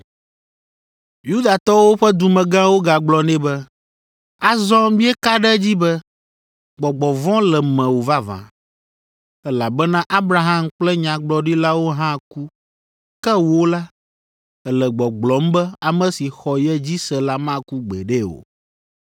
Yudatɔwo ƒe dumegãwo gagblɔ nɛ be, “Azɔ míeka ɖe edzi be, gbɔgbɔ vɔ̃ le mewò vavã, elabena Abraham kple nyagblɔɖilawo hã ku. Ke wò la, èle gbɔgblɔm be ame si xɔ ye dzi se la maku gbeɖe o.